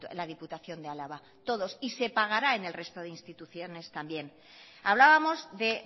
la diputación de álava y se pagará en el resto de instituciones también hablábamos de